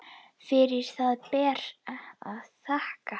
Fyrir það ber að þakka.